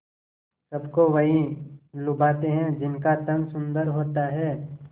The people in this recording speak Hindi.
सबको वही लुभाते हैं जिनका तन सुंदर होता है